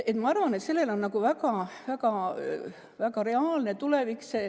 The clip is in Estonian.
Ma arvan, et see on reaalne tulevik.